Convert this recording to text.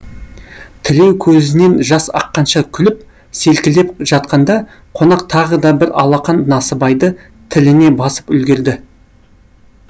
тілеу көзінен жас аққанша күліп селкілдеп жатқанда қонақ тағы да бір алақан насыбайды тіліне басып үлгерді